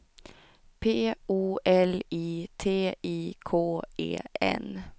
P O L I T I K E N